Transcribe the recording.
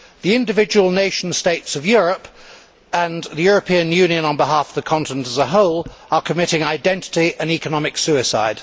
The individual nation states of Europe, and the European Union on behalf of the continent as a whole, are committing identity, and economic, suicide.